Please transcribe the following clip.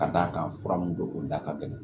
Ka d'a kan fura min don o da ka gɛlɛn